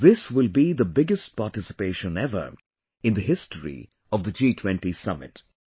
This will be the biggest participation ever in the history of the G20 Summit